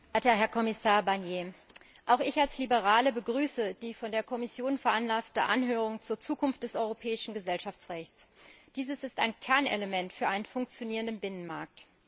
Herr Präsident, verehrter Herr Kommissar Barnier! Auch ich als Liberale begrüße die von der Kommission veranlasste Anhörung zur Zukunft des europäischen Gesellschaftsrechts. Dieses ist ein Kernelement für einen funktionierenden Binnenmarkt.